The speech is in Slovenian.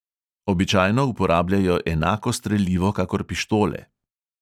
Običajno uporabljajo enako strelivo kakor pištole.